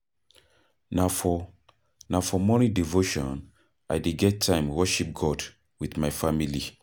Na for Na for morning devotion I dey get time worship God wit my family.